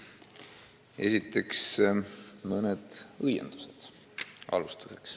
Alustuseks aga mõned õiendused.